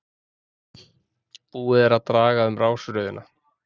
Búið er að draga um rásröðina